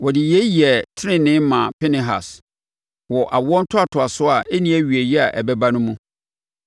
Wɔde yei yɛɛ tenenee maa Pinehas wɔ awoɔ ntoatoasoɔ a ɛnni awieeɛ a ɛbɛba no mu.